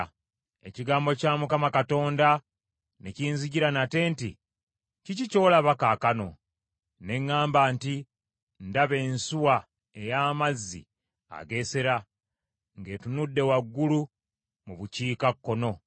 Ekigambo kya Mukama Katonda ne kinzijjira nate nti, “Kiki ky’olaba, kaakano?” Ne ŋŋamba nti, “Ndaba ensuwa ey’amazzi ageesera, ng’etunudde waggulu mu bukiikakkono.”